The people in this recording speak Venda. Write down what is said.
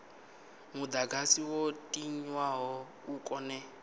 mudagasi wo tiwaho u kone